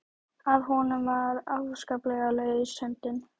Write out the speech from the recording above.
Að honum var afskaplega laus höndin.